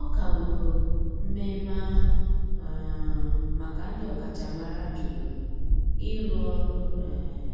Ọ kagburu mmeme ahu um maka ndi okachamara jụrụ ịrụ ọrụ um